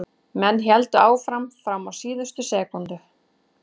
Menn héldu áfram fram á síðustu sekúndu.